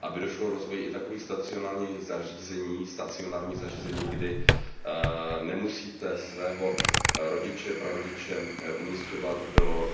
Aby došlo k rozvoji i takových stacionárních zařízení, kdy nemusíte svého rodiče, prarodiče umísťovat do